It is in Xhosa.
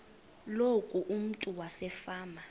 loku umntu wasefama